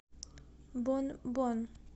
бон бон